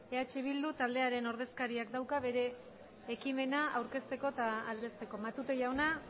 eh bildu taldearen ordezkariak dauka hitza bere ekimena aurkezteko eta aldezteko matute jauna